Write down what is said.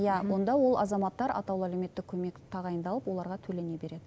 иә онда ол азаматтар атаулы әлеуметтік көмек тағайындалып оларға төлене береді